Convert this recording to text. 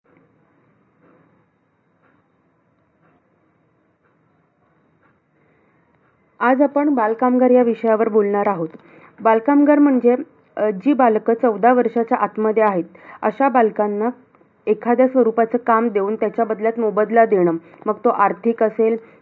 आज आपण बालकामगार, या विषयावर बोलणार आहोत. बालकामगार म्हणजे, अं जी बालकं चौदा वर्षांच्या आतमध्ये आहेत, आशा बालकांना एखाद्या स्वरूपाचं काम देऊन, त्याच्या बदल्यात मोबदला देणं. मग तो आर्थिक असेल,